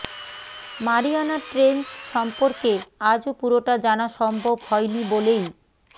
Mariana Trench সম্পর্কে আজও পুরোটা জানা সম্ভব হয় নি বলেই